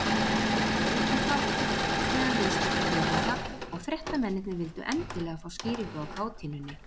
Vakti þetta mikinn hlátur meðal viðstaddra höfunda, og fréttamennirnir vildu endilega fá skýringu á kátínunni.